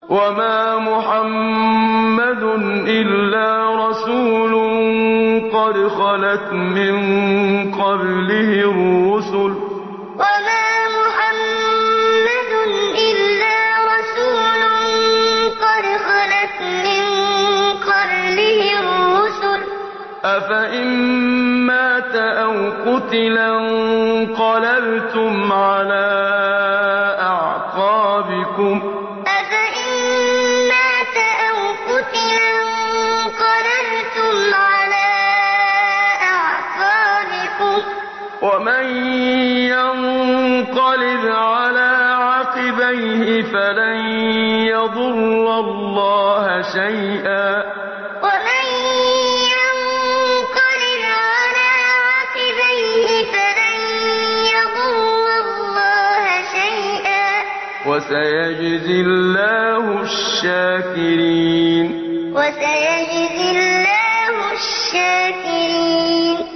وَمَا مُحَمَّدٌ إِلَّا رَسُولٌ قَدْ خَلَتْ مِن قَبْلِهِ الرُّسُلُ ۚ أَفَإِن مَّاتَ أَوْ قُتِلَ انقَلَبْتُمْ عَلَىٰ أَعْقَابِكُمْ ۚ وَمَن يَنقَلِبْ عَلَىٰ عَقِبَيْهِ فَلَن يَضُرَّ اللَّهَ شَيْئًا ۗ وَسَيَجْزِي اللَّهُ الشَّاكِرِينَ وَمَا مُحَمَّدٌ إِلَّا رَسُولٌ قَدْ خَلَتْ مِن قَبْلِهِ الرُّسُلُ ۚ أَفَإِن مَّاتَ أَوْ قُتِلَ انقَلَبْتُمْ عَلَىٰ أَعْقَابِكُمْ ۚ وَمَن يَنقَلِبْ عَلَىٰ عَقِبَيْهِ فَلَن يَضُرَّ اللَّهَ شَيْئًا ۗ وَسَيَجْزِي اللَّهُ الشَّاكِرِينَ